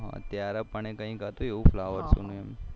ત્યારે પણ કૈક હતું એવું flowershow નું